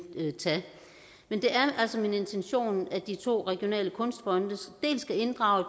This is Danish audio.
tage men det er altså min intention at de to regionale kunstfonde skal inddrage